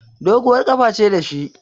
Doguwar ƙafa ce da shi